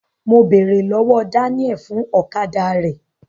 Mo bèrè lọwọ Daniel fún ọ̀kadà rẹ.